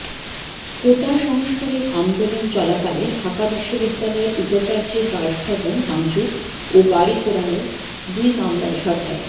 কোটা সংস্কারের আন্দোলন চলাকালে ঢাকা বিশ্ববিদ্যালয়ের উপাচার্যের বাসভবন ভাঙচুর ও গাড়ি পোড়ানোর দুই মামলায় সরকারি